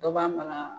Dɔ b'a mara